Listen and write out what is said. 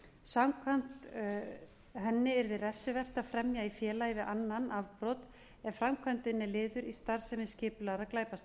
samkvæmt henni yrði refsivert að fremja í félagi við annan afbrot ef framkvæmdin er liður í